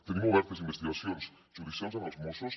tenim obertes investigacions judicials amb els mossos